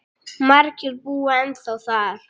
Margir búa ennþá þar.